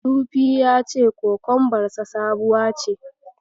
Sufi ya ce kokombarsa sabuwa ce.